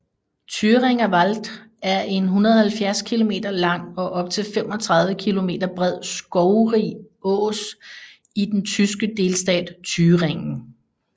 Thüringer Wald er en 170 km lang og op til 35 km bred skovrig ås i den tyske delstat Thüringen